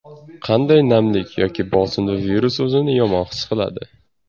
Qanday namlik yoki bosimda virus o‘zini yomon his qiladi?